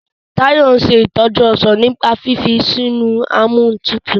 Tayo nse itoju ọsán nípa fífi sínú Amóhuntutù.